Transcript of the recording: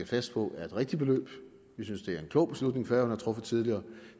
fast på er et rigtigt beløb vi synes det er en klog beslutning færøerne har truffet tidligere